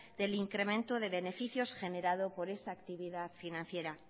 del incremento de beneficios generado por esa actividad financiera